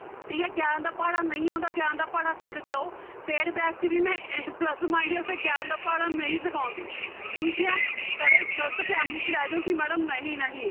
ਠੀਕ ਹੈ ਗਿਆਰਾਂ ਦਾ ਪਹਾੜਾ ਨਹੀਂ ਆਉਂਦਾ ਗਿਆਰਾਂ ਦਾ ਪਹਾੜਾ ਸਿੱਖ ਕੇ ਆਓ paid batch 'ਚ ਵੀ ਮੈਂ plus minus ਤੇ ਗਿਆਰਾਂ ਦਾ ਪਹਾੜਾ ਨਹੀਂ ਸਿਖਾਉਂਦੀ ਠੀਕ ਹੈ ਕਦੇ ਗ਼ਲਤ 'ਚ ਰਹਿ ਜਾਓ ਕਿ madam ਨਹੀਂ ਨਹੀਂ